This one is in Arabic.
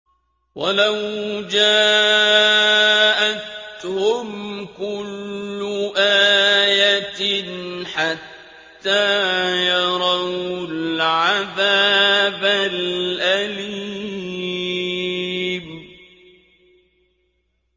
وَلَوْ جَاءَتْهُمْ كُلُّ آيَةٍ حَتَّىٰ يَرَوُا الْعَذَابَ الْأَلِيمَ